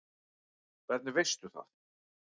Hvernig veistu það?